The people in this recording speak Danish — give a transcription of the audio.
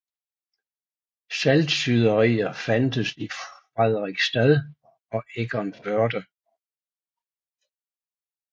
Saltsyderier fandtes i Frederiksstad og Egernførde